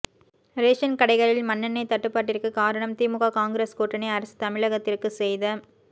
ration கடைகளில் மண்ணெண்ணெய் தட்டுப்பாட்டிற்கு காரணம் திமுக காங்கிரஸ் கூட்டணி அரசு தமிழகத்திற்கு செய்த